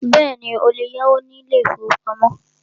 Bẹ́ẹ̀ni, o lè yáwó ní ilé ìfọwọ́pamo.